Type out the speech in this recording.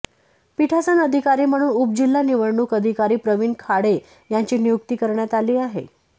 पीठासन अधिकारी म्हणून उपजिल्हा निवडणूक अधिकारी प्रवीण खाडे यांची नियुक्ती करण्यात आली आहे